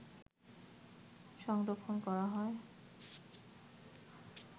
সংরক্ষণ করা হয়